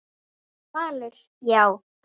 Valur: Já.